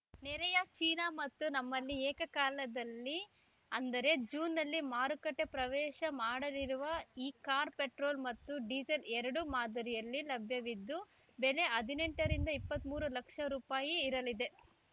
ನೆರೆಯ ಚೀನಾ ಮತ್ತು ನಮ್ಮಲ್ಲಿ ಏಕ ಕಾಲದಲ್ಲಿ ಅಂದರೆ ಜೂನ್‌ನಲ್ಲಿ ಮಾರುಕಟ್ಟೆಪ್ರವೇಶ ಮಾಡಲಿರುವ ಈ ಕಾರ್‌ ಪೆಟ್ರೋಲ್‌ ಮತ್ತು ಡೀಸೆಲ್‌ ಎರಡೂ ಮಾದರಿಯಲ್ಲಿ ಲಭ್ಯವಿದ್ದು ಬೆಲೆ ಹದಿನೆಂಟ ರಿಂದ ಇಪ್ಪತ್ತ್ ಮೂರು ಲಕ್ಷ ರುಪಾಯಿ ಇರಲಿದೆ